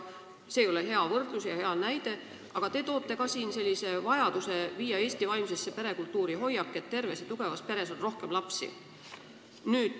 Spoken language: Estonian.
See ei ole hea võrdlus ega hea näide, aga te tõite siin ka esile vajaduse viia Eesti vaimsesse perekultuuri hoiak, et terves ja tugevas peres on rohkem lapsi.